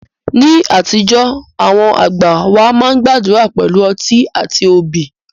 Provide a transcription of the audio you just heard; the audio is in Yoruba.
Ní àtijọ́, àwọn àgbà wá máa ń gbàdúrà pẹ̀lú ọtí àti obì